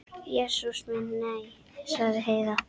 Jesús minn, nei, sagði Heiða.